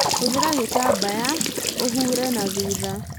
Hũthĩra gĩtambaya ũhũre na thutha